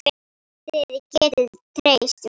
Þið getið treyst mér.